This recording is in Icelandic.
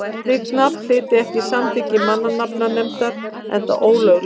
slíkt nafn hlyti ekki samþykki mannanafnanefndar enda ólöglegt